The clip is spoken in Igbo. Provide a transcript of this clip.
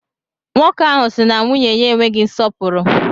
Nwoke ahụ si na nwunye ya enweghị nsọpụrụ.